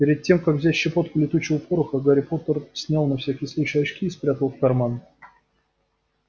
перед тем как взять щепотку летучего пороха гарри поттер снял на всякий случай очки и спрятал в карман